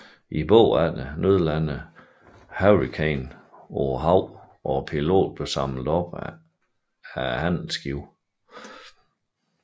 Bagefter nødlandede Hurricanen på havet og piloten blev samlet op af handelsskibet